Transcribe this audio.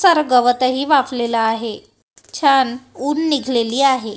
चर गवतही वाफलेलं आहे छान ऊन निघलेली आहे.